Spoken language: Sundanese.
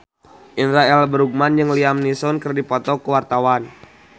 Indra L. Bruggman jeung Liam Neeson keur dipoto ku wartawan